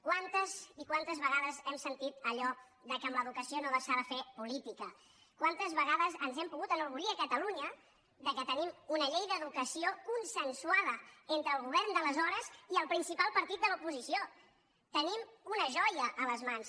quantes i quantes vegades hem sentit allò que amb l’educació no s’ha de fer política quantes vegades ens hem pogut enorgullir a catalunya que tenim una llei d’educació consensuada entre el govern d’aleshores i el principal partit de l’oposició tenim una joia a les mans